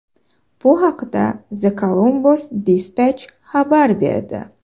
Bu haqda The Columbus Dispatch xabar berdi .